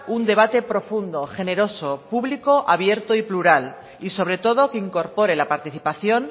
un debate profundo generoso público abierto y plural y sobre todo que incorpore la participación